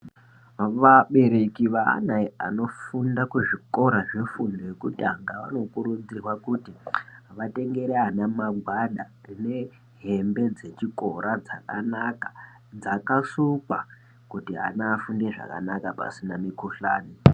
Vabereki veana vanofunda kuzvikora zvefundo yekutanga vanokurudzirwa kuti vatengere ana magwada nehembe dzechikora dzakanaka dzakasukwa kuti ana afunde zvakanaka pasina mikhuhlani.